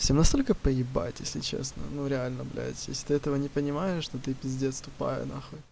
всем настолько поебать если честно ну реально блядь если ты этого не понимаешь что ты пиздец тупая на хуй